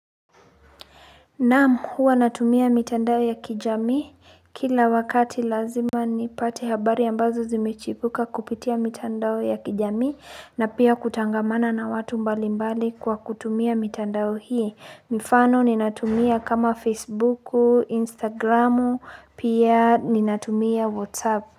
Naamu huwa natumia mitandao ya kijamii kila wakati lazima nipate habari ambazo zimechipuka kupitia mitandao ya kijamii na pia kutangamana na watu mbali mbali kwa kutumia mitandao hii mifano ninatumia kama facebooku instagramu pia ninatumia whatsapp.